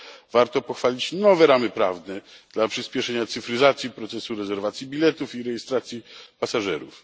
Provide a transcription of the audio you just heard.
Warto pochwalić nowe ramy prawne dla przyspieszenia cyfryzacji procesu rezerwacji biletów i rejestracji pasażerów.